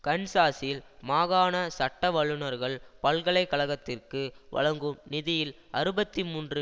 கன்சாஸில் மாகாண சட்டவல்லுனர்கள் பல்கலை கழகத்திற்கு வழங்கும் நிதியில் அறுபத்தி மூன்று